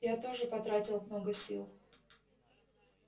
я тоже потратил много сил